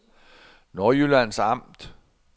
Nordjyllands Amt